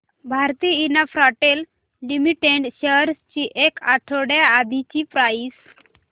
Bharti Infratel limited shares ची एक आठवड्या आधीची प्राइस